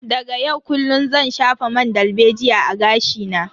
Daga yau kullun zan shafa man dalbejiya a gashi na.